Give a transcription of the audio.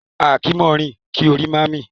A kì í mọ̀ rìn kí orí má mì.